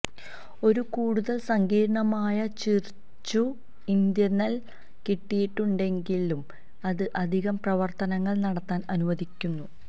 ഒരു കൂടുതൽ സങ്കീർണ്ണമായ ചിര്ചുഇത്ര്യ് നൽകിയിട്ടുണ്ടെങ്കിലും അത് അധിക പ്രവർത്തനങ്ങൾ നടത്താൻ അനുവദിക്കുന്നു